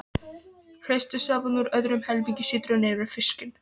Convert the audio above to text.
Kreistið safann úr öðrum helmingi sítrónunnar yfir fiskinn.